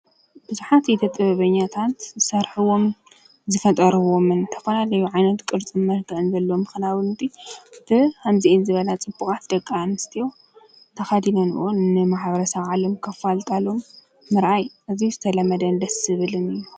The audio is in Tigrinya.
ብዙሓት ኢደ ጥበበኛታት ዝሰርሕዎምን ዝፈጠርዎምን ዝተፈላለዩ ዓይነት ቅርፅን መልክዕን ዘለዎም ክዳውንቲ ብከምዚአን ዝበላ ፅቡቃት ደቂ አንስትዮ ተከዲነንኦ ንማሕበረሰብ ዓለም ከፋልጣሎም ምርአይ እዚ ዝተለመደን ደሰ ዝብልን እዪ።